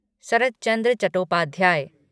सरत चंद्र चट्टोपाध्याय